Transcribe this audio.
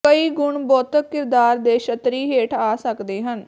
ਕਈ ਗੁਣ ਬੌਧਿਕ ਕਿਰਦਾਰ ਦੇ ਛਤਰੀ ਹੇਠ ਆ ਸਕਦੇ ਹਨ